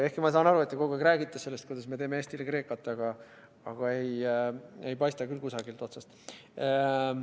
Ehkki ma saan aru, et te kogu aeg räägite sellest, kuidas me teeme Eestile Kreekat, aga ei, ei paista küll kusagilt otsast.